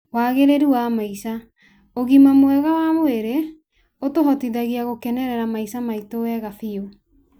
Wagĩrĩru wa maica: ũgima wa mwĩrĩ mwega ũtũhotithagia gũkenera maica maitũ wega biũ.